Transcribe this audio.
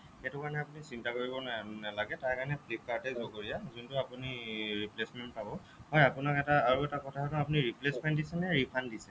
সেইটো কাৰণে আপুনি চিন্তা কৰিব নালাগে তাৰ কাৰণে flipkart এ জগৰীয়া যোনটো আপুনি replacement পাব হ'য় আপোনাক এটা আৰু এটা কথা আপুনি replacement দিছেনে নে refund দিছে